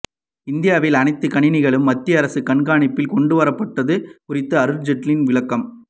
இந்தியாவில் அனைத்து கணினிகளும் மத்திய அரசு கண்காணிப்பில் கொண்டுவரப்பட்டது குறித்து அருண் ஜெய்ட்லி விளக்கம்